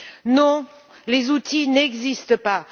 Non, les outils n'existent pas.